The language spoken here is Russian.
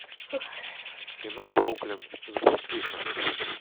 кино бруклин запусти ка